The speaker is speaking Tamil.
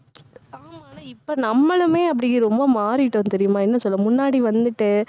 ஆமா. ஆனா, இப்ப, நம்மளுமே அப்படி ரொம்ப மாறிட்டோம் தெரியுமா என்ன சொல்ல முன்னாடி வந்துட்டு